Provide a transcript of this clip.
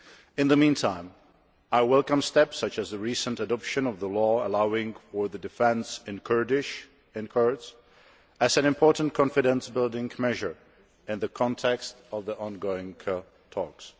In the meantime, I welcome steps such as the recent adoption of the law allowing for the defence of Kurds in Kurdish as an important confidence building measure in the context of the ongoing talks.